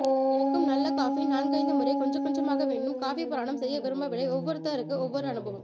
எனக்கும் நல்ல காஃபி நான்கைந்து முறை கொஞ்சம் கொஞ்சமாக வேண்டும் காஃபிப் புராணம் செய்ய விரும்பவில்லை ஒவ்வொருத்தருக்கு ஒவ்வொரு அனுபவம்